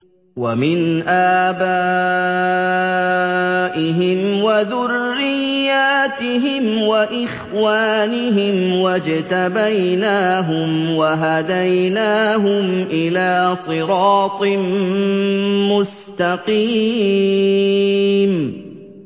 وَمِنْ آبَائِهِمْ وَذُرِّيَّاتِهِمْ وَإِخْوَانِهِمْ ۖ وَاجْتَبَيْنَاهُمْ وَهَدَيْنَاهُمْ إِلَىٰ صِرَاطٍ مُّسْتَقِيمٍ